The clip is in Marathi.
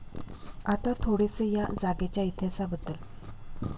आता थोडेसे या जागेच्या इतिहासाबद्दल